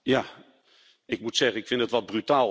Ik moet zeggen, ik vind het wat brutaal eigenlijk.